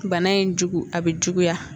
Bana in jugu a bɛ juguya